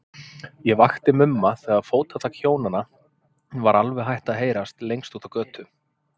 Ég vakti Mumma þegar fótatak Hjónanna var alveg hætt að heyrast lengst úti á götu.